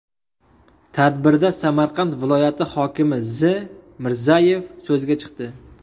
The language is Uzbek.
Tadbirda Samarqand viloyati hokimi Z. Mirzayev so‘zga chiqdi.